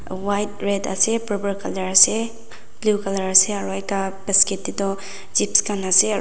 White red ase purple colour ase blue colour ase aro ekta basket tetu chips khan ase.